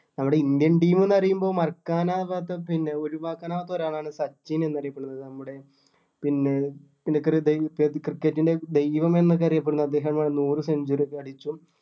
നമ്മുടെ indian team എന്ന് പറയുമ്പോ മറക്കാനാവാത്ത പിന്നെ ഒഴുവാക്കാൻ ആവാത്ത ഒരാളാണ് സച്ചിൻ എന്ന് അറിയപ്പെടുന്നത് നമ്മുടെ പിന്നെ പുള്ളി ഹൃദയ cricket ൻ്റെ ദൈവം എന്നൊക്കെ അറിയപ്പെടുന്നത് അദ്ദേഹം ആണ് നൂറു century ഒക്കെ അടിച്ചു